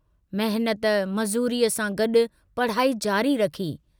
मेहनत, मजूरीअ सां गड्डु पढ़ाई जारी रखी।